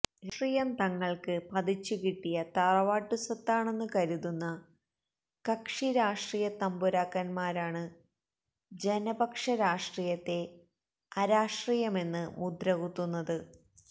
രാഷ്ട്രീയം തങ്ങൾക്ക് പതിച്ചുകിട്ടിയ തറവാട്ടുസ്വത്താണെന്ന് കരുതുന്ന കക്ഷിരാഷ്ട്രീയത്തമ്പുരാക്കന്മാരാണു ജനപക്ഷരാഷ്ട്രീയത്തെ അരാഷ്ട്രീയമെന്ന് മുദ്ര കുത്തുന്നത്